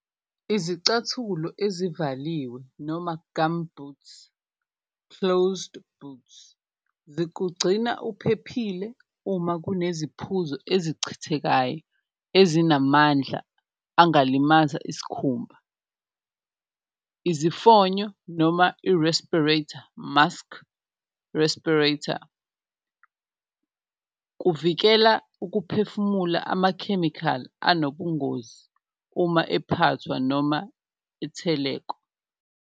Izicathulo ezivaliwe noma gumboots, closed boots zikugcina uphephile uma kuneziphuzo ezichithekayo ezinamandla angakulimaza iskhumba, izifonyo noma i-respirator mask respirator, kuvikela ukuphefumula amakhemikhali anobungozi uma ephathwa noma itheleko.